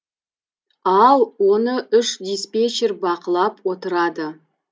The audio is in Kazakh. ал оны үш диспетчер бақылап отырады